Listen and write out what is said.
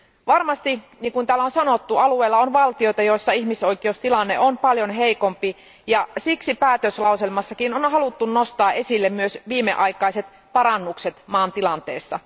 Varmasti niin kuin täällä on sanottu alueella on valtioita, joissa ihmisoikeustilanne on paljon heikompi, ja siksi päätöslauselmassakin on haluttu nostaa esille myös viimeaikaiset parannukset maan tilanteessa.